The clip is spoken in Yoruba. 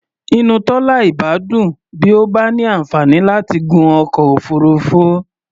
Inú Tọ́lá ìbá dùn bí ó bá ní àǹfààní láti gun ọkọ̀ òfuurufú.